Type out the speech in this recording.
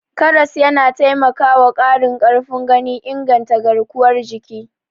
Karas yana taimakwa ƙarin ƙarfin gani, inganta garkuwar jiki.